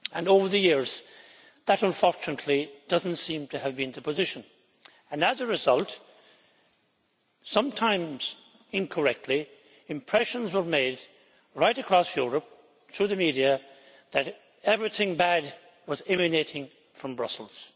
Over the years, that unfortunately does not seem to have been the position and as a result, sometimes incorrectly, impressions were given, right across Europe through the media, that everything bad was emanating from Brussels.